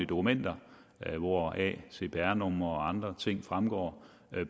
dokumenter hvoraf cpr numre og andre ting fremgår